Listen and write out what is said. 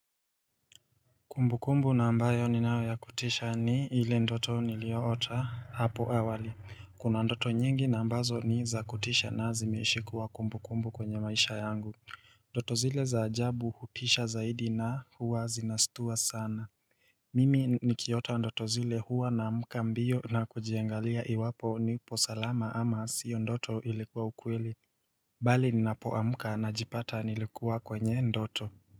Kumbukumbu na ambayo ninayo ya kutisha ni ile ndoto niliyoota hapo awali. Kuna ndoto nyingi na ambazo ni za kutisha na zimeishi kuwa kumbukumbu kwenye maisha yangu Ndoto zile za ajabu hutisha zaidi na huwa zinastua sana Mimi nikiota ndoto zile huwa naamka mbio na kujiangalia iwapo nipo salama ama sio ndoto, ilikuwa ukweli Bali ninapoamka najipata nilikuwa kwenye ndoto.